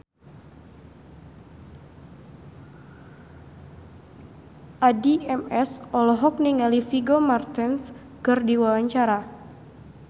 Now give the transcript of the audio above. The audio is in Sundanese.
Addie MS olohok ningali Vigo Mortensen keur diwawancara